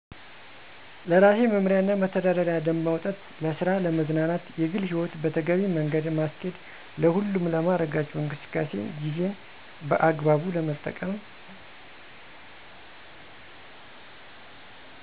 ለራሴ መምሪያና መተዳደሪያ ደንብ ማውጣት ለስራ ለመዝናናት የግልህይወት በተገቢ መገደ ማስኬድ ለሁሉም ለማረጋቸው እንቅስቃሴ ጊዜን በአግባቡ መጠቀም